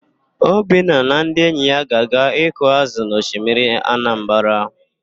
Obinna na ndị enyi ya ga-aga ịkụ ázụ̀ na osimiri Anambara.